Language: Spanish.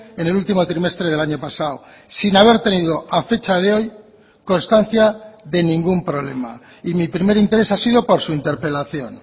en el último trimestre del año pasado sin haber tenido a fecha de hoy constancia de ningún problema y mi primer interés ha sido por su interpelación